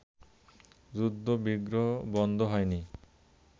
যুদ্ধ-বিগ্রহ বন্ধ হয়নি